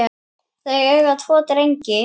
Þau eiga tvo drengi